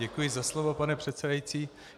Děkuji za slovo, pane předsedající.